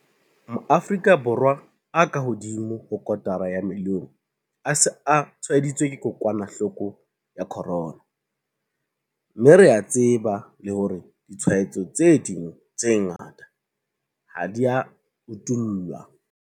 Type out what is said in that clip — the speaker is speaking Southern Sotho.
Maafrika Borwa a kahodimo ho kotara ya milione a se a tshwaeditswe ke kokwanahloko ya corona, mme re a tseba le hore ditshwaetso tse ding tse ngata ha di a utollwa.